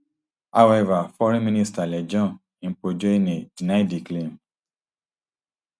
however foreign minister lejone mpotjoane deny di claim